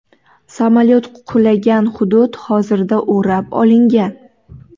Samolyot qulagan hudud hozirda o‘rab olingan.